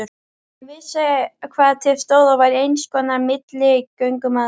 Hann vissi hvað til stóð og var einskonar milligöngumaður.